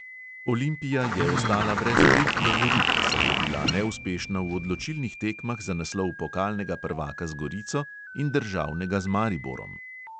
Olimpija je ostala brez obeh lovorik, saj je bila neuspešna v odločilnih tekmah za naslov pokalnega prvaka z gorico in državnega z mariborom.